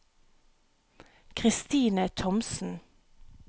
Kristine Thomsen